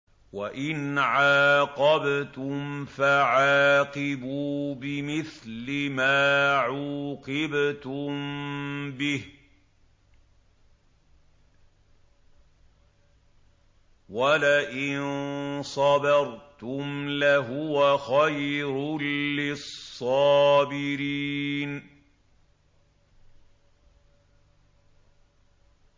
وَإِنْ عَاقَبْتُمْ فَعَاقِبُوا بِمِثْلِ مَا عُوقِبْتُم بِهِ ۖ وَلَئِن صَبَرْتُمْ لَهُوَ خَيْرٌ لِّلصَّابِرِينَ